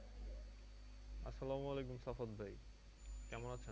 আসসালামু আলাইকুম সাফোদ ভাই, কেমন আছেন?